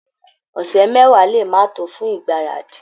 Ọ̀sẹ̀ mẹ́wàá lè máa tó fún ìgbáradì